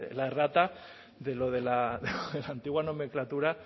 la errata de lo de la antigua nomenclatura